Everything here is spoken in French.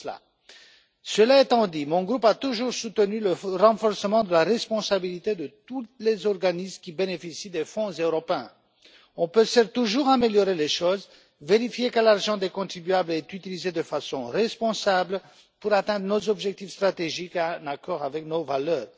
Cela étant dit, mon groupe a toujours soutenu le renforcement de la responsabilité de tous les organismes qui bénéficient des fonds européens. On peut certes toujours améliorer les choses et vérifier que l'argent des contribuables est utilisé de façon responsable pour atteindre nos objectifs stratégiques en accord avec nos valeurs.